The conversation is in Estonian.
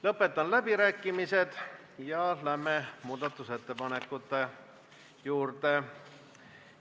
Lõpetan läbirääkimised ja läheme muudatusettepanekute juurde.